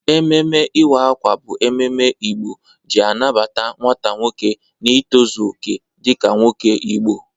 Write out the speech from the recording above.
Ememe iwa akwa bụ ememe Igbo ji anabata nwata nwoke n'itọzọ oke dịka nwoke Igbo.